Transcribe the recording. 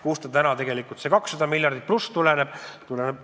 Kust tuleneb täna see 200+ miljonit?